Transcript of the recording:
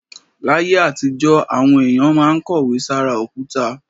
Láyé àtijọ́, àwọn èèyàn máa ń kọ̀wé sára òkúta